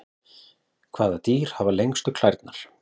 Hvaða dýr hafa lengstu klærnar?